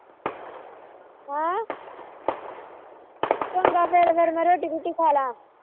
ਹਾ ਚੰਗਾ ਫਿਰ ਮੈ ਰੋਟੀ ਰੂਟੀ ਖਾਲਾ